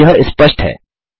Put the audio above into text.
जबकि यह स्पष्ट है